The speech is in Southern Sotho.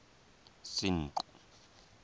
senqu